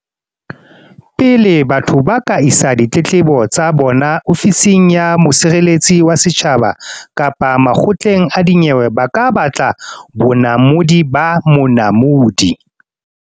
Pele batho ba ka isa ditletlebo tsa bona Ofising ya Mosireletsi wa Setjhaba kapa makgotleng a dinyewe ba ka batla bonamodi ba Monamodi.